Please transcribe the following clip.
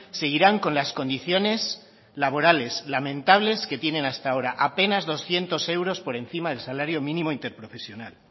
seguirán con las condiciones laborales lamentables que tienen hasta ahora apenas doscientos euros por encima del salario mínimo interprofesional